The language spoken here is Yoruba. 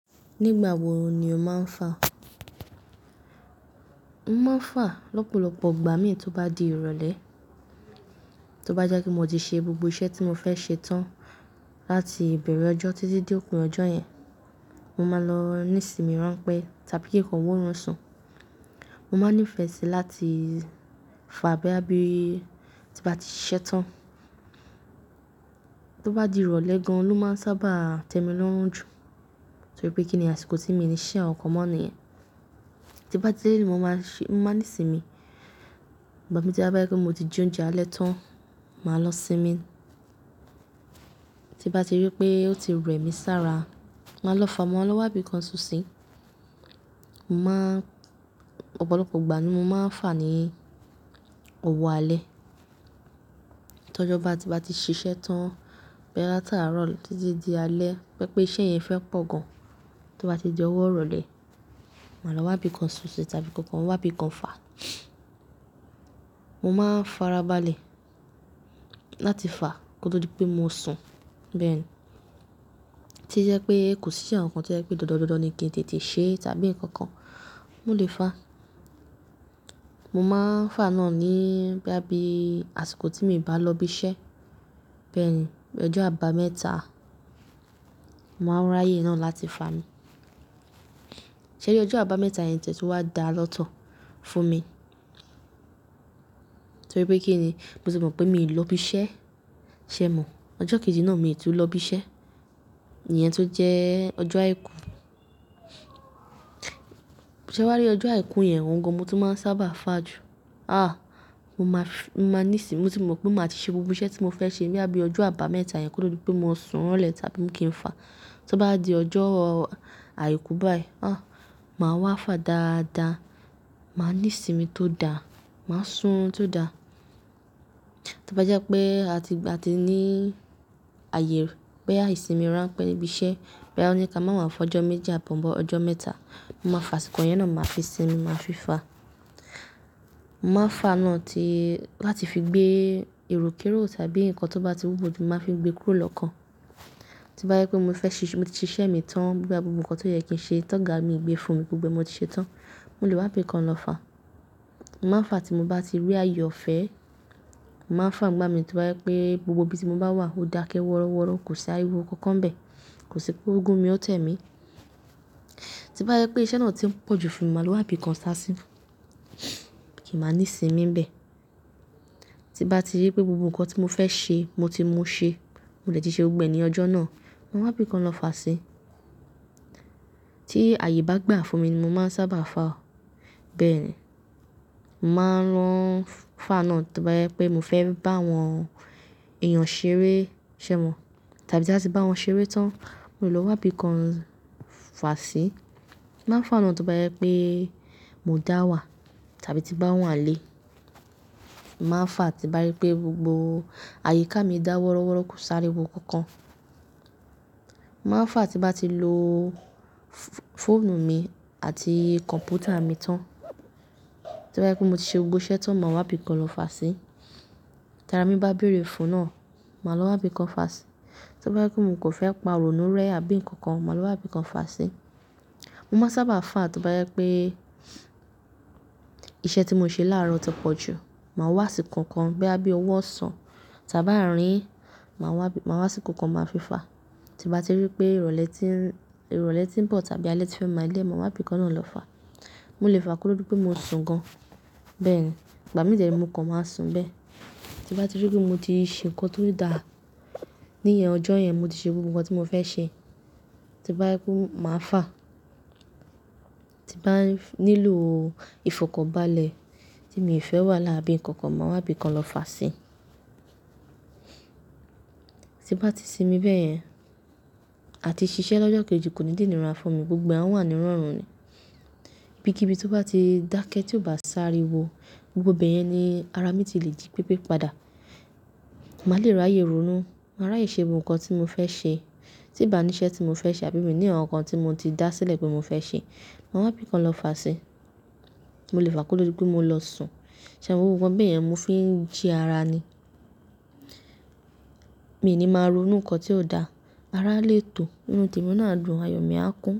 Nígbà wo ni o máa ń fà? Mo máa ń fà lọ́pọ̀lọpọ̀ ìgbà mí tó bá di ìrọ̀lẹ́, tó bá jẹ́ pẹ mọti ṣe gbogbo iṣẹ́ tí mo fẹ́ ṣe tán láti ìbẹ̀rẹ̀ ọjọ́ títí dé òpin ọjọ́ yẹn, mo máa lọ nísìmi ránpẹ́ tàbí kí nǹkan wó run sùn. Mo máa ní ìfẹ́ sí láti fà bóyá bíi tí bá ti ṣẹ́ṣẹ tán. Tí ó bá di ìrọ̀lẹ́ gan an ló máa ń sábà tẹ́mi lọ́rùn jù torí pé kíni àsìkò tí mi níí ṣiṣẹ nkan kàn mọ́ nìyẹn. Tí bá ti dé ilẹ mo máa ṣe, mo máa ní ìsinmi. Ìgbà mí tí a bá rí pẹ́ mọ ti jẹ oúnjẹ alẹ́ tán, màá lọ sinmi. Tí bá ti rí pé ó ti rẹ̀mi sára, màá lọ fà, màá lọ wá ibìkan sùn sí. Mo máa n ọ̀pọ̀lọpọ̀ ìgbà ni mo máa ń fà ní òwò alẹ́. Tí ọjọ́ bá ti, bá ti ṣiṣẹ́ tán, bóyá láti àárọ̀ títí di alẹ́, tó jẹ pé iṣẹ́ yẹn fẹ́ pọ̀ gan an, tí ó bá ti di ọwọ́ ìrọ̀lẹ́, màá lọ wá ibìkan sùn sí tàbí kí ǹkan wá ibìkan fà. Mo máa ń farabalẹ̀ láti fà kó tó di pé mọ sun. Bẹ́ẹ̀ni. Tí jẹ́ pé kò sí nkan kàn tí ó jẹ́ pé dòdòdódó ni kí n tètè ṣe tàbí ǹkan kàn, mọ lè fà. Mo máa ń fà náà ní bóyá bíi àsìkọ tí mi bá lọ bí ṣẹ́. Bẹ́ẹ̀ni, ọjọ́ àbámẹ́ta, màá ràyè náà láti fà mí. Ṣẹ̀ ri ọjọ́ àbámẹ́ta yẹn tẹ̀ tún wá dá lọ́tọ̀ fún mi torí pé kíni mo ti mọ̀ pé mi ò lọ bí iṣẹ ṣẹ́, ṣẹ́ mọ. Ọjọ́ kejì náà mi tún lọ bí iṣẹ́, ìyẹn tó jẹ́ ọjọ́ àìkú. Ṣẹ̀ wárí ọjọ́ àìkú yẹn, òun gan mọ tún máa ń sábà fà jù. Àh! Mọ máa ní ìsìnmi, mọ ti mọ̀ pé má ti ṣe gbogbo iṣẹ́ tí mo fẹ́ ṣe bóyá bí ọjọ́ àbámẹ́ta yẹn kó tó di pé mo sùn lẹ̀ tàbí kì n fà. Tó bá di ọjọ́ àìkú báyìí, àh! Màá wá fà dáadáa, màá ní ìsinmi tó dáa, màá sùrùn tó dáa. Tó bá jẹ́ pé a ti, a ti ní àyè bóyá ìsìnmi ránpẹ́ níbí iṣẹ́, bóyá wọn ni ká máa má fọjọ́ méjì àbọ̀ọ́bọ́ ọjọ́ mẹ́ta, mo máa fà àsìkò yẹn náà, màá fi sinmi, màá fi fà. Mọ máa fà náà tí láti fi gbé èròkérò tàbí nǹkan tó bá ti wúwo ju, màá fi gbé kúrò lọ́kàn. Tó bá jẹ́ pé mo fẹ́ ṣíṣe, mo ti ṣiṣẹ́ mi tán bíi ìgbà gbogbo nǹkan tó yẹ kí n ṣe tán ga mi gbé fún mi gbogbo ẹ mọ t ṣe tán, mo lè wá ibìkan lọ fà. Mo máa fà tí mo bá ti rí ààyè ọ̀fẹ́. Mo máa fà nígbà mí tó bá jẹ pé gbogbo ibi tí mọ bá wà ó dákẹ́ wọ́rọ́wọ́rọ́, kò sí ariwo kankan bẹ́ẹ̀, kò sí pé ogún mi ó tẹ́mi. Tó bá jẹ pé iṣẹ́ náà tí ń pọ̀jù fún mi, màá wá ibìkan sá sí. Kí máa ní ìsinmi bẹ́ẹ̀. Tí bá ti rí pé gbogbo nǹkan tí mo fẹ́ ṣe mo ti mú ṣe, mọ dé ti ṣe gbogbo ẹ ni ọjọ́ náà, màá wá ibìkan lọ fà sí. Tí ààyè bá gbà fún mi ni mo máa ń sábà fà. Bẹ́ẹ̀ni. Mo máa n lọ fà náà tó bá jẹ pé mọ fẹ́ bá àwọn èèyàn ṣeré ṣẹ́ mọ tàbí tí báti bá wọn ṣeré tán, má lọ wá ibìkan fà sí. Mo máa fà náà tó bá jẹ pé mo dá wà tàbí tí bá wà n lè. Mo máa fà tí bá rí pé gbogbo àyíká mi dá wọ́rọ́wọ́rọ́ kò sí ariwo kankan. Mo máa fà tí bá ti lọ fóònù mi àti kọ̀m̀pútà mi tán. Tí bá yẹ pé mo ti ṣe gbogbo iṣẹ́ tán, màá wá ibìkan lọ fà sí. Tárà mí bá béèrè fún náà, màá lọ wá ibìkan fà sí. Tó bá jẹ pé mo kò fẹ́ pa ìrònú rẹ́ àbí nǹkan kan, màá lọ wá ibìkan fà sí. Mo máa ń sábà fà tó bá jẹ pé iṣẹ́ tí mo ṣe láaárọ̀ ti pọ̀ jù. Màá wá asíko kan bóyá bíi òwó ọsán tàbí àárín, mà wá asíko kàn máa fi fà. Tí bá ti rí pé ìrọ̀lẹ́ ti ń, ìrọ̀lẹ́ ti ń bọ̀ tàbí alẹ́ ti fẹ́ máa dẹ, máa wá ibìkan náà lọ fà. Mo lè fà kòtò di pẹ́ mo sùn gan. Bẹ́ẹ̀ni. Ìgbà mí dẹ̀ ni mo kan màá sùn bẹ́ẹ̀. Tí bá ti rí pé mo ti ṣe nǹkan tó dáa ní ìyẹn ọjọ́ yẹn, mo ti ṣe gbogbo nǹkan tí mo fẹ́ ṣe, tí bá rí pé máa fà. Tí bá nílò ìfọ̀kànbalẹ̀ tí mi ò fẹ́ wàhálà àbí nǹkan kan, màá wá ibìkan lọ fà sí. Tí bá ti sinmi bẹ́yẹn, àti ṣiṣẹ́ lọ́jọ́ kejì kò ní jẹ inìra fún mi, gbogbo ẹ àwà nírọ̀rùn ni. Ibi kí ibi tó bá ti dákẹ́ tí ò bá sariwo, gbogbo bẹ́yẹn ni ara mi ti lè jí pépé padà. Màá lè ràyè ronú, màá ràyè ṣe gbogbo nǹkan tí mo fẹ́ ṣe. Tí n bá ní iṣẹ́ tí mo fẹ́ ṣe àbí mi ní ǹkan kàn tí mo ti dá sílẹ̀ pé mo fẹ́ ṣe, màá wá ibìkan lọ fà sí. Mo lè fà kúrú dúpẹ́ mo lọ sùn. Ṣẹ̀ mo gbogbo nkán bẹ́yẹn mo fi ń jí ara ni. Mi ni màá ronú nǹkan tí ò dáa, ara lè tọ̀, inú tèmi náà adùn, àyò mi á kún.